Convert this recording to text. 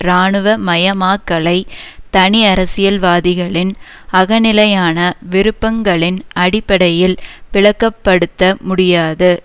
இராணுவ மயமாக்கலை தனி அரசில்வாதிகளின் அகநிலையான விருப்பங்களின் அடிப்படையில் விளக்கப்படுத்தமுடியாது